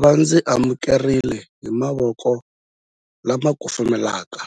Va ndzi amukerile hi mavoko lama kufumelaka